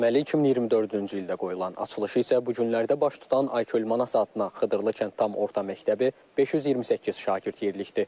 Təməli 2024-cü ildə qoyulan, açılışı isə bu günlərdə baş tutan Ayköl Manas adına Xıdırlı kənd tam orta məktəbi 528 şagird yerlikdir.